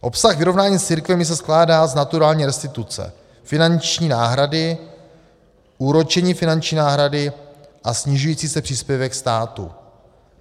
Obsah vyrovnání s církvemi se skládá z naturální restituce, finanční náhrady, úročení finanční náhrady a snižující se příspěvek státu.